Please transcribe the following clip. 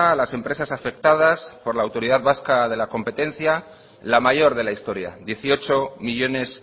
las empresas afectadas por la autoridad vasca de la competencia la mayor de la historia dieciocho millónes